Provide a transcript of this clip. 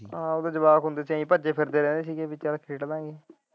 ਆਹੋ ਉਦੋਂ ਜਵਾਕ ਹੁੰਦੇ ਸੀ ਕਿ ਭੱਜਦੇ ਫ਼ਿਰਦੇ ਰਹਿੰਦੇ ਸੀ ਕਿ ਖੇਡ ਲਾ ਗਏ।